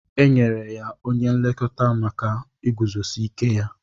Enyere onye nlekọta maka iguzosi ike ya.